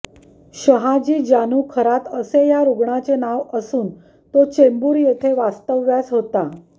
शहाजी जानू खरात असे या रुग्णाचे नाव असून तो चेंबूर येथे वास्तव्यास होता